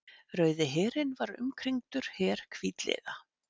Rauði herinn var umkringdur her hvítliða.